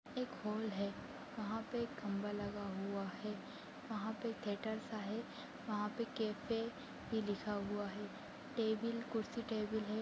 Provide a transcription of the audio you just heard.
एक हॉल है वहां पे खंभा लगा हुआ है वहां पर थिएटर सा है वहां पे कॅफे भी लिखा हुआ है टेबल कुर्सी टेबल है।